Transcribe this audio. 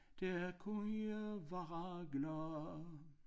Der kunne være glade